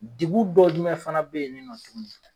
Degun dɔ jumɛn fana be yen ni nɔ tugun